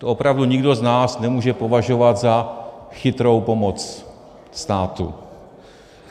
To opravdu nikdo z nás nemůže považovat za chytrou pomoc státu.